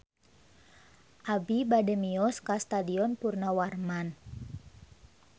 Abi bade mios ka Stadion Purnawarman